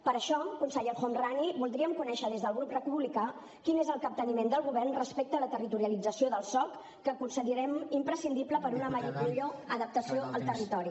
per això conseller el homrani voldríem conèixer des del grup republicà quin és el capteniment del govern respecte a la territorialització del soc que considerem imprescindible per a una millor adaptació al territori